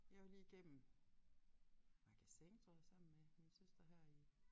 Jeg var lige igennem Magasin tror jeg sammen med min søster her i